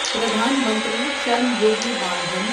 Pradhan Mantri Shram Yogi Maan Dhan